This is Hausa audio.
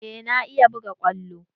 Eh na iya buga kwallo?